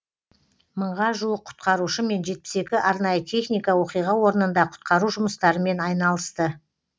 мыңға жуық құтқарушы мен жетпіс екі арнайы техника оқиға орнында құтқару жұмыстарымен айналысты